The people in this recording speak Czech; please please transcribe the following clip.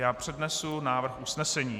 Já přednesu návrh usnesení.